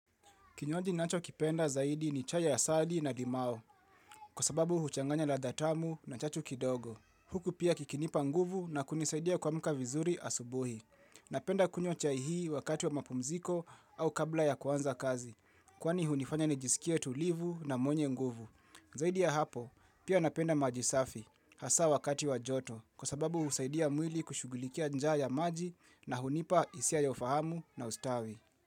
Kinywaji nachokipenda zaidi ni chai ya asali na limao, kwa sababu huchanganya ladha tamu na chachu kidogo. Huku pia kikinipa nguvu na kunisaidia kuamka vizuri asubuhi. Napenda kunywa chai hii wakati wa mapumziko au kabla ya kuanza kazi, kwani hunifanya nijisikie tulivu na mwenye nguvu. Zaidi ya hapo, pia napenda maji safi, hasa wakati wa joto, kwa sababu husaidia mwili kushugulikia njaa ya maji na hunipa isia ya ufahamu na ustawi.